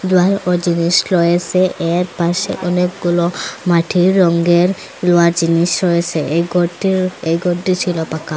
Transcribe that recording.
লোহারও জিনিস রয়েসে এর পাশে অনেকগুলো মাটির রঙ্গের লোহার জিনিস রয়েসে এই গরটি এই গরটি ছিল পাকা।